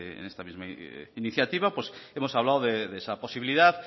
en esta misma iniciativa hemos hablado de esa posibilidad